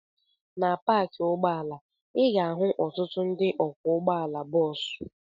Na paakị ụgbọala, ị ga-ahụ ọtụtụ ndị ọkwọ ụgbọala bọọsụ.